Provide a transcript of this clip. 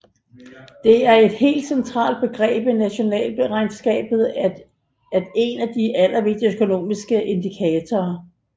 Det er et helt centralt begreb i nationalregnskabet og en af de allervigtigste økonomiske indikatorer